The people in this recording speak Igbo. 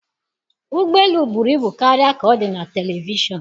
Ụgbọ elu buru ibu karịa ka ọ dị na telivishọn